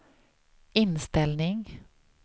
inställning